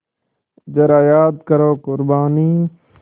ज़रा याद करो क़ुरबानी